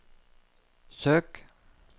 søk